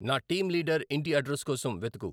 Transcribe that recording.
నా team leader ఇంటి address కోసం వెతుకు